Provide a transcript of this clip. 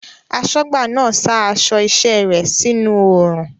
Aṣọ́gbà náà sa aṣọ iṣẹ́ rẹ̀ sínú oòrùn